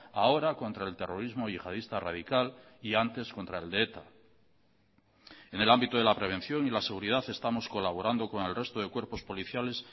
ahora contra el terrorismo yihadista radical y antes contra el de eta en el ámbito de la prevención y la seguridad estamos colaborando con el resto de cuerpos policiales